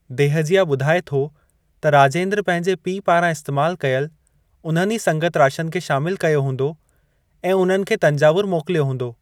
देहजिया ॿुधाए थो त राजेंद्र पंहिंजे पीउ पारां इस्तैमाल कयल उन्हनि ई संगतराशनि खे शामिल कयो हूंदो ऐं उन्हनि खे तंजावुर मोकिलियो हूंदो।